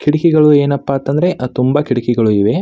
ಕಿಟಕಿಗಳು ಏನಪ್ಪಾ ಅಂತ ಅಂದ್ರೆ ಅಹ್ ತುಂಬಾ ಕಿಟಕಿಗಳು ಇದೆ.